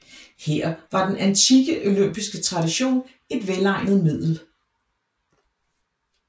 Her var den antikke olympiske tradition et velegnet middel